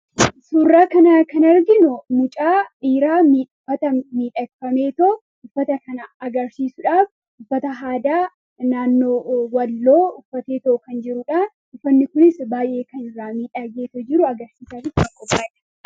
suurraa kanaa kan argino mucaa dhiiraa miuffata miidhakfameetoo uffata kana agarsiisuudhaaf uffata haadaa naannoo walloo uffateetoo kan jiruudhaan dhufanni kunis baay'ee kan rraa miidhaageetoo jiru agarsiisaatitti aqqobaadha